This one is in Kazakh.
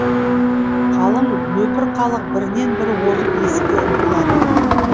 қалың нөпір халық бірінен бірі озып есікке ұмтылады